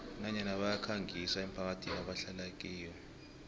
nanyana bayikhangisa emphakathini ebahlala kiyo